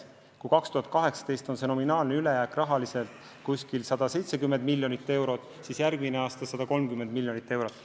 Kui aastal 2018 on nominaalne ülejääk umbes 170 miljonit eurot, siis järgmisel aastal 130 miljonit eurot.